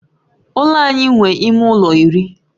Ụlọ anyị nwe ime ụlọ iri